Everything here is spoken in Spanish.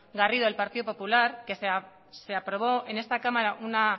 garrido del partido popular que se aprobó en esta cámara una